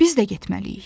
Biz də getməliyik.